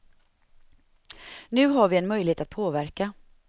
Nu har vi en möjlighet att påverka.